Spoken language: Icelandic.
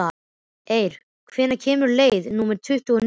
Eir, hvenær kemur leið númer tuttugu og níu?